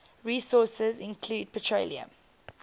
resources include petroleum